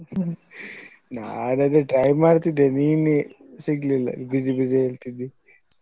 ನಾನು ಅದೇ try ಮಾಡ್ತಿದ್ದೆ ನೀನೆ ಸಿಗ್ಲಿಲ್ಲ busy busy ಹೇಳ್ತಿದ್ದಿ.